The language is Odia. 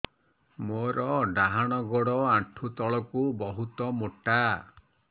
ମୋର ଡାହାଣ ଗୋଡ ଆଣ୍ଠୁ ତଳୁକୁ ବହୁତ ମୋଟା